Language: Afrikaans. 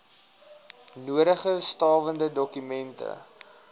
nodige stawende dokumente